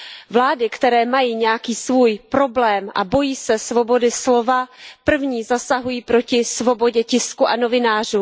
Vlády, které mají nějaký svůj problém a bojí se svobody slova, první zasahují proti svobodě tisku a novinářům.